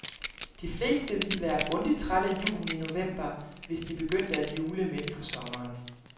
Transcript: De fleste ville være grundig træt af julen i november, hvis de begyndte at jule midt på sommeren.